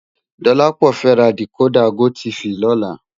Dolapo fè rá dikódà gótìfí lòlá